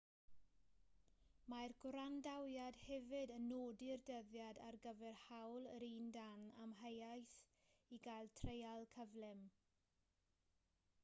mae'r gwrandawiad hefyd yn nodi'r dyddiad ar gyfer hawl yr un dan amheuaeth i gael treial cyflym